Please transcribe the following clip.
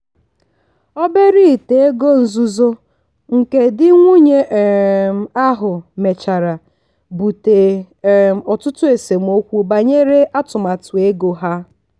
obere ite ego nzuzo nke di nwunye um ahụ mechara bute um ọtụtụ esemokwu banyere atụmatụ ego ha.